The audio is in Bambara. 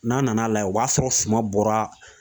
N'a nana layɛ o b'a sɔrɔ suma bɔra